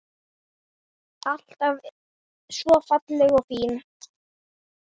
Alltaf svo falleg og fín.